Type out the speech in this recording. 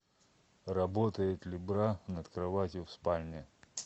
работает ли бра над кроватью в спальне